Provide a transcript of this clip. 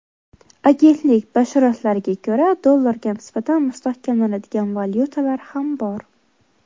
Agentlik bashoratlariga ko‘ra, dollarga nisbatan mustahkamlanadigan valyutalar ham bor.